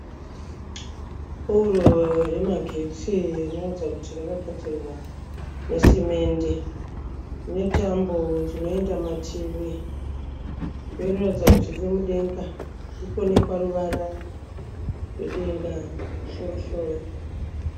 Poro remagetsi rinoratidza kuti rakagadzirwa nesimende rine tambo dzinoenda mativi uye rinoratidza kuti riri mudenga kuri kuonekwa ruvara rwedenga kumusorosoro.